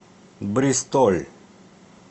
бристоль